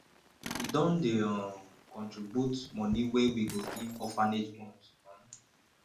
we don dey um contribute moni wey we go give orphanage homes um